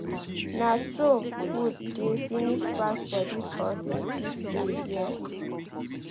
Na so food dey finish fast for dis office thief dey here?